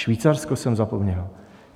Švýcarsko jsem zapomněl.